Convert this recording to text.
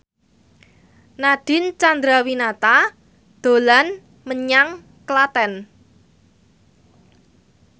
Nadine Chandrawinata dolan menyang Klaten